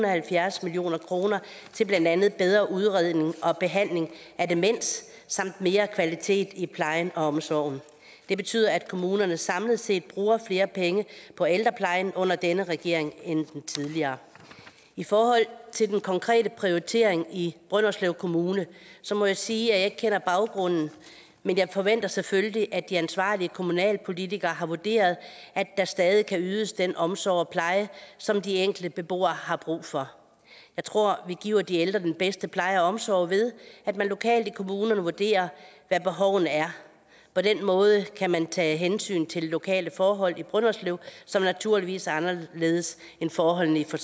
og halvfjerds million kroner til blandt andet bedre udredning og behandling af demens samt mere kvalitet i plejen og omsorgen det betyder at kommunerne samlet set bruger flere penge på ældreplejen under denne regering end under den tidligere i forhold til den konkrete prioritering i brønderslev kommune må jeg sige at jeg ikke kender baggrunden men jeg forventer selvfølgelig at de ansvarlige kommunalpolitikere har vurderet at der stadig kan ydes den omsorg og pleje som de enkelte beboere har brug for jeg tror vi giver de ældre den bedste pleje og omsorg ved at man lokalt i kommunerne vurderer hvad behovene er på den måde kan man tage hensyn til de lokale forhold i brønderslev som naturligvis er anderledes end forholdene i for